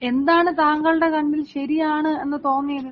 എന്താണ് താങ്കളുടെ കണ്ണിൽ ശരിയാണ് എന്ന് തോന്നിയത്?